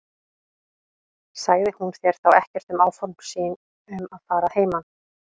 Sagði hún þér þá ekkert um áform sín um að fara að heiman?